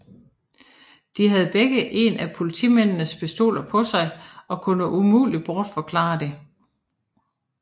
De havde begge en af politimændenes pistoler på sig og kunne umuligt bortforklare det